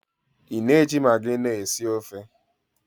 Ị na-eji magị nọọ esi ofe?